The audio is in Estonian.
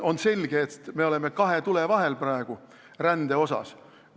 On selge, et me oleme praegu rände tõttu kahe tule vahel.